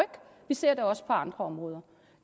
vi ser det også på andre områder